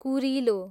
कुरिलो